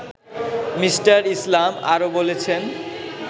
me: Islam আরও বলেছেন